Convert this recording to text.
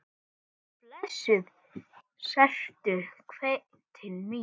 Blessuð sértu sveitin mín!